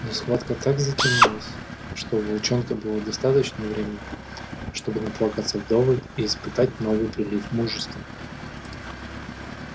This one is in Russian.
но схватка так затянулась что у волчонка было достаточно времени чтобы наплакаться вдоволь и испытать новый прилив мужества